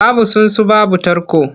Babu tsuntsu babu tarko.